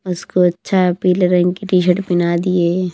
उसको अच्छा पीले रंग की टी-शर्ट पहना दिए।